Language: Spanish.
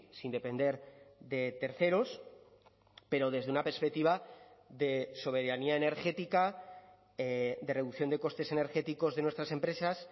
sin depender de terceros pero desde una perspectiva de soberanía energética de reducción de costes energéticos de nuestras empresas